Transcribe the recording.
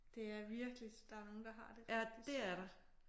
Det er virkelig der er nogle der har det rigtig svært